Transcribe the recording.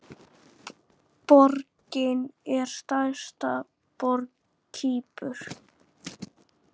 Borgin er stærsta borg Kýpur.